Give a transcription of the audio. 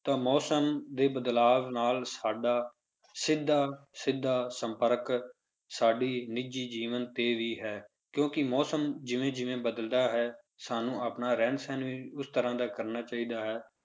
ਤਾਂ ਮੌਸਮ ਦੇ ਬਦਲਾਵ ਨਾਲ ਸਾਡਾ ਸਿੱਧਾ ਸਿੱਧਾ ਸੰਪਰਕ ਸਾਡੀ ਨਿੱਜੀ ਜੀਵਨ ਤੇ ਵੀ ਹੈ, ਕਿਉਂਕਿ ਮੌਸਮ ਜਿਵੇਂ ਜਿਵੇਂ ਬਦਲਦਾ ਹੈ, ਸਾਨੂੰ ਆਪਣਾ ਰਹਿਣ ਸਹਿਣ ਵੀ ਉਸ ਤਰ੍ਹਾਂ ਦਾ ਕਰਨਾ ਚਾਹੀਦਾ ਹੈ